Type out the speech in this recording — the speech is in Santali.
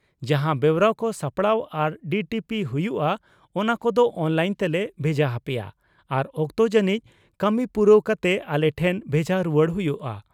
ᱡᱟᱦᱟ ᱵᱮᱣᱨᱟ ᱠᱚ ᱥᱟᱯᱲᱟᱣ ᱟᱨ ᱰᱤᱴᱤᱯᱤ ᱦᱩᱭᱩᱜ ᱼᱟ ᱚᱱᱟ ᱠᱚᱫᱳ ᱚᱱᱞᱟᱭᱤᱱ ᱛᱮᱞᱮ ᱵᱷᱮᱡᱟ ᱦᱟᱯᱮᱭᱟ ᱟᱨ ᱚᱠᱛᱚ ᱡᱟᱹᱱᱤᱡ ᱠᱟᱹᱢᱤ ᱯᱩᱨᱟᱹᱣ ᱠᱟᱛᱮ ᱟᱞᱮ ᱴᱷᱮᱱ ᱵᱷᱮᱡᱟ ᱨᱩᱣᱟᱹᱲ ᱦᱩᱭᱩᱜᱼᱟ ᱾